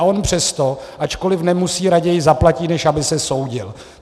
A on přesto, ačkoliv nemusí, raději zaplatí, než aby se soudil.